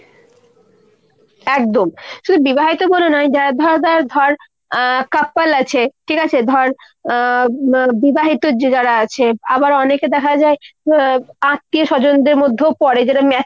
একদম। শুধু বিবাহিত বলে নয়, যারা ধর ধর ধর couple আছে, ঠিক আছে ধর আহ বিবাহিত যারা আছে। আবার অনেকে দেখা যায় উম আত্মীয়-স্বজনদের মধ্যেও পরে। যারা